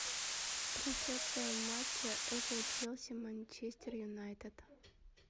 трансляция матча апл челси манчестер юнайтед